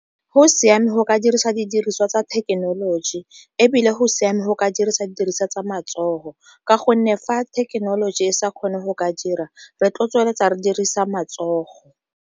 Go siame go ka dirisa didiriswa tsa thekenoloji, ebile go siame go ka dirisa didiriswa tsa matsogo ka gonne fa thekenoloji e sa kgone go ka dira re tlo tsweletsa re dirisa matsogo.